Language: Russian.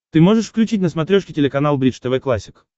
ты можешь включить на смотрешке телеканал бридж тв классик